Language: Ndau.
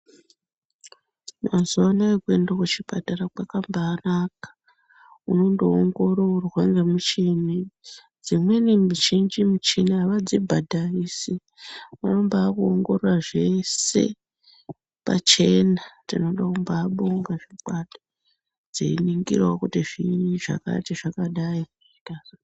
Mazuwa anaya kuenda kuchipatara kwakambanaka unondoongororwa ngemuchini dzimweni michini mizhinji avadzibhadharisi vanombakuongorora zvese pachena tinoda kumbabonga zvokwadi dzeiningirawo kuti zviinyi zvakati zvakadai zvikazodai.